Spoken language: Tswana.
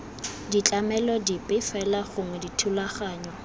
ditlamelo dipe fela gongwe dithulaganyo